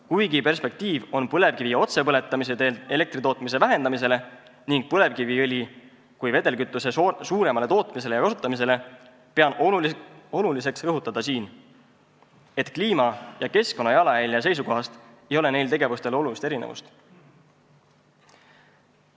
Kuigi perspektiiv on, et väheneb elektri tootmine põlevkivi otsepõletamise teel ning põlevkiviõli kui vedelkütust hakatakse rohkem tootma ja kasutama, pean oluliseks rõhutada, et kliima- ja keskkonnajalajälje seisukohast ei ole neil tegevustel olulist erinevust.